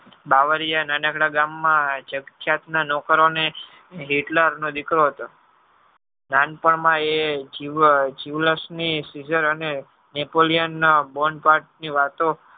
દાવરીયા નાનકડા ગામ માં નોકરો ને Hitler નો દીકરો નાનપણ માં એ જીવ ~ જીવલાશ ની civizar અને Napolean ના bond part ની વાતો